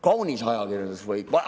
Kaunisajakirjandus või?